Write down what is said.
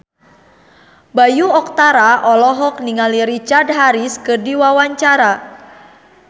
Bayu Octara olohok ningali Richard Harris keur diwawancara